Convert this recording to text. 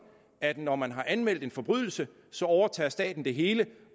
at når man har anmeldt en forbrydelse så overtager staten det hele